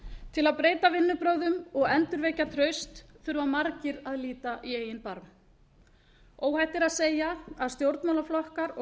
til að breyta vinnubrögðum og endurvekja traust þurfa margir að líta í eigin barm óhætt er að segja að stjórnmálaflokkar og